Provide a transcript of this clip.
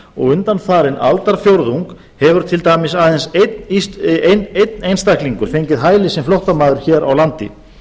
og undanfarinn aldarfjórðung hefur til dæmis aðeins einn einstaklingur fengið hæli sem flóttamaður hér á landi